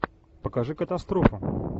покажи катастрофу